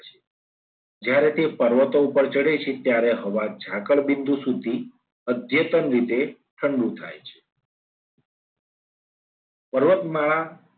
જ્યારે તે પર્વતો ઉપર ચડે છે. ત્યારે હવા ઝાકળ બિંદુ સુધી અધ્યતન રીતે ઠંડુ થાય છે પર્વતમાળા